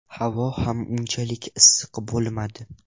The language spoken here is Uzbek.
Havo ham unchalik issiq bo‘lmadi.